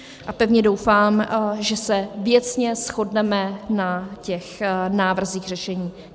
A pevně doufám, že se věcně shodneme na těch návrzích řešení.